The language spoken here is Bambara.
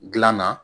Gilan na